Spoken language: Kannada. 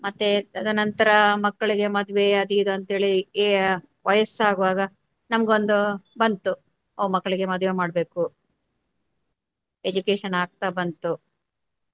ಮತ್ತೆ ತದನಂತರ ಮಕ್ಕಳಿಗೆ ಮದುವೆ ಅದು ಇದು ಅಂತ ಹೇಳಿ ವಯಸ್ಸಾಗುವಾಗ ನಮಗೊಂದು ಬಂತು ಓ ಮಕ್ಕಳಿಗೆ ಮದ್ವೆ ಮಾಡ್ಬೇಕು education ಆಗ್ತಾ ಬಂತು.